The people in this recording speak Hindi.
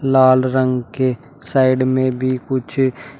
लाल रंग के साइड में भी कुछ--